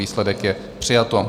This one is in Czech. Výsledek je: přijato.